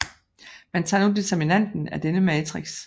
Man tager nu determinanten af denne matrix